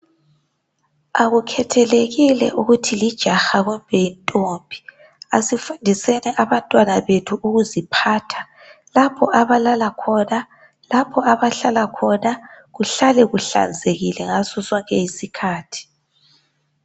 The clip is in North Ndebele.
Akukhethelekile ukuthi lijaha kumbe yintombi asifundiseni abantwana bethu ukuziphatha lapho abalala khona, lapho abahlala khona kuhlale kuhlanzekile ngaso sonke isikhathi.